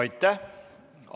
Aitäh!